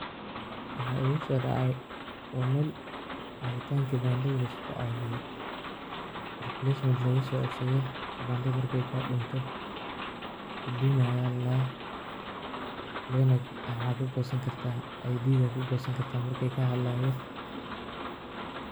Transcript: Waxa igusodacay wa meel cawitanka kibandada laiskucawiyo replacement lagusoceshado kibandada markey kadunto huduma aya ladaha waxa kagosan karta ID kagosani karta.